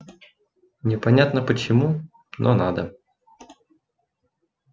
непонятно почему но надо